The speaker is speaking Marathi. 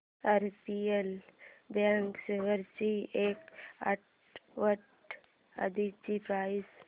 आरबीएल बँक शेअर्स ची एक आठवड्या आधीची प्राइस